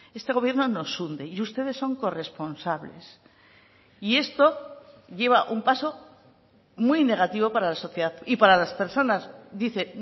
este gobierno nos hunde y ustedes son corresponsables y esto lleva un paso muy negativo para la sociedad y para las personas dice